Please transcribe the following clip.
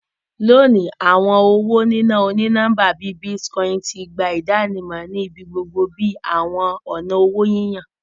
Loni, awọn owo nina oni-nọmba bii Bitcoin ti gba idanimọ ni ibigbogbo bi awọn ọna owo yiyan.